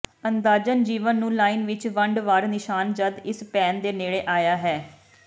ਅੰਦਾਜ਼ਨ ਜੀਵਨ ਨੂੰ ਲਾਈਨ ਵਿੱਚ ਵੰਡ ਵਾਰ ਿਨਸ਼ਾਨ ਜਦ ਇਸ ਭੈਣ ਦੇ ਨੇੜੇ ਆਇਆ ਹੈ